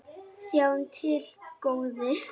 Sjáum til, góði.